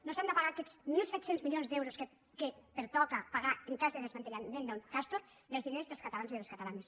no s’han de pagar aquests mil set cents milions d’euros que pertoca pagar en cas de desmantellament del castor dels diners dels catalans i de les catalanes